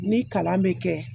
Ni kalan bɛ kɛ